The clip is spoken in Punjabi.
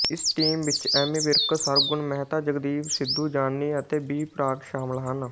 ਇਸ ਟੀਮ ਵਿੱਚ ਐਮੀ ਵਿਰਕ ਸਰਗੁਣ ਮਹਿਤਾ ਜਗਦੀਪ ਸਿੱਧੂ ਜਾਨੀ ਅਤੇ ਬੀ ਪ੍ਰਾਕ ਸ਼ਾਮਲ ਹਨ